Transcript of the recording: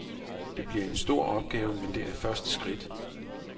Det bliver en stor opgave, men det er første skridt.